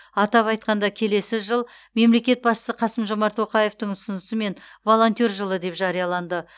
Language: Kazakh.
атап айтқанда келесі жыл мемлекет басшысы қасым жомарт тоқаевтың ұсынысымен волонтер жылы деп жарияланды